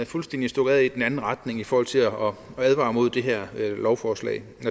fuldstændig stukket af i den anden retning i forhold til at advare mod det her lovforslag